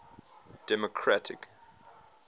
democratic